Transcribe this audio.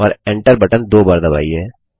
और enter button दो बार दबाइए